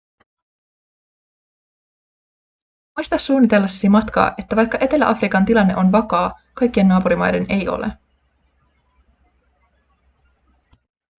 muista suunnitellessasi matkaa että vaikka etelä-afrikan tilanne on vakaa kaikkien naapurimaiden ei ole